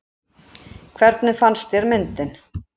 Hvernig fannst þér myndin?